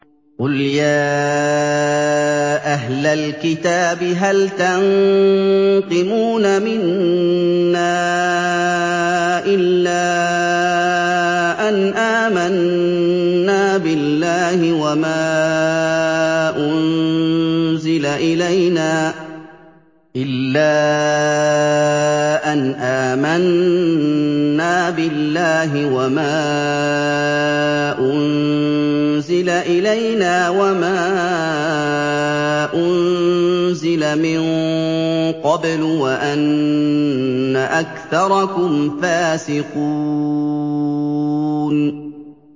قُلْ يَا أَهْلَ الْكِتَابِ هَلْ تَنقِمُونَ مِنَّا إِلَّا أَنْ آمَنَّا بِاللَّهِ وَمَا أُنزِلَ إِلَيْنَا وَمَا أُنزِلَ مِن قَبْلُ وَأَنَّ أَكْثَرَكُمْ فَاسِقُونَ